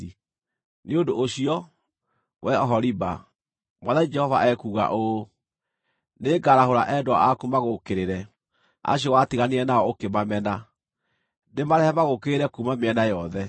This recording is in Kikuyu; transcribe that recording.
“Nĩ ũndũ ũcio, wee Oholiba, Mwathani Jehova ekuuga ũũ: Nĩngarahũra endwa aku magũũkĩrĩre, acio watiganire nao ũkĩmamena, ndĩmarehe magũũkĩrĩre kuuma mĩena yothe,